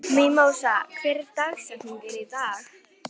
Mímósa, hver er dagsetningin í dag?